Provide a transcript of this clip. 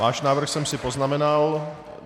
Váš návrh jsem si poznamenal.